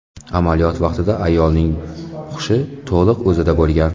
Amaliyot vaqtida ayolning hushi to‘liq o‘zida bo‘lgan.